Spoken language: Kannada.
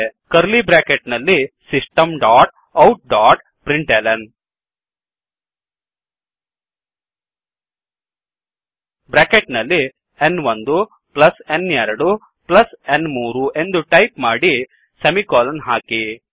ಕರ್ಲೀ ಬ್ರ್ಯಾಕೆಟ್ ನಲ್ಲಿ system dot out dot println bracket ನಲ್ಲಿ n1n2n3 ಎಂದು ಟೈಪ್ ಮಾಡಿ ಸೆಮಿಕೋಲನ್ ಹಾಕಿ